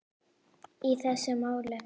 í þessu máli.